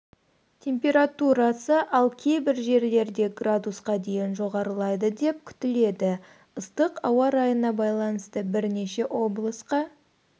температурасы ал кейбір жерлерде градусқа дейін жоғарылайды деп күтіледі ыстық ауа райына байланысты бірнеше облысқа